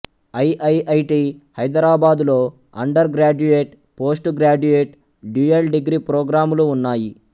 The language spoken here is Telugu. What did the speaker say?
ఐఐఐటి హైదరాబాద్ లో undergraduate postgraduate dual degree ప్రోగ్రాములు ఉన్నాయి